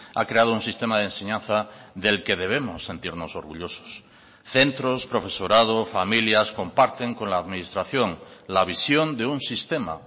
ha creado un sistema de enseñanza del que debemos sentirnos orgullosos centros profesorado familias comparten con la administración la visión de un sistema